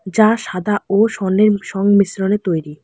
যা সাদা ও স্বর্ণের সংমিশ্রণে তৈরি।